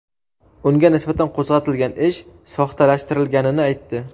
unga nisbatan qo‘zg‘atilgan ish soxtalashtirilganini aytdi.